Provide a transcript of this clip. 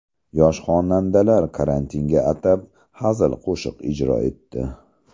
Yosh xonandalar karantinga atab hazil qo‘shiq ijro etdi .